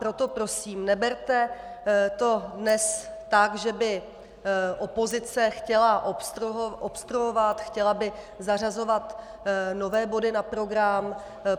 Proto prosím, neberte to dnes tak, že by opozice chtěla obstruovat, chtěla by zařazovat nové body na program.